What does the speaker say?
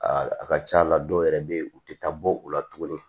Aa a ka c'a la dɔw yɛrɛ be yen u tɛ taa bɔ u la tuguni